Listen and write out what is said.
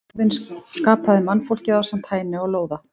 Óðinn skapaði mannfólkið ásamt Hæni og Lóða.